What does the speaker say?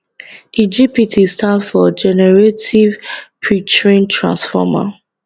di gpt stand for generative pretrained transformer